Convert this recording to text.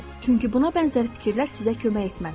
Çünki buna bənzər fikirlər sizə kömək etməz.